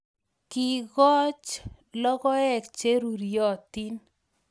Kiikoch logoek che ruryotin